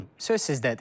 Buyurun, söz sizdədir.